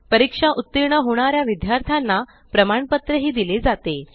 परीक्षेत उत्तीर्ण होणाऱ्या विद्यार्थ्यांना प्रमाणपत्र दिले जाते